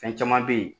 Fɛn caman be yen